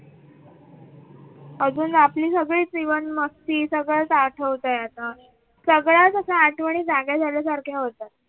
अजून आपली सगळी जीवन मस्ती सगळं आठवतंय. आता सगळ्या आठवणी जाग्या झाल्यासारखे होतात.